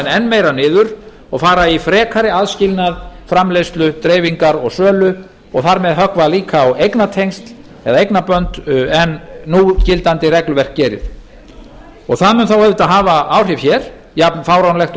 enn meira niður og fara í frekari aðskilnað framleiðslu dreifingar og sölu og þar með höggva líka á eignartengsl eða eignarbönd en núgildandi regluverk gerir það mun þá auðvitað hafa áhrif hér jafn fáránlegt og það í raun